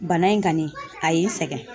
Bana in kani a ye n sɛgɛn .